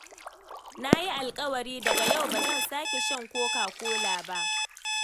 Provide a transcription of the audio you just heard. Na yi alƙawari daga yau ba zan sake shan Coca-Cola ba.